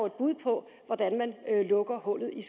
et bud på hvordan man lukker hullet i